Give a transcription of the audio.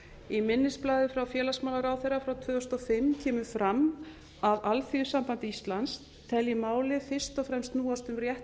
í minnisblaði frá félagsmálaráðherra frá tvö þúsund og fimm kemur fram að alþýðusamband íslands telji málið fyrst og fremst snúast um rétt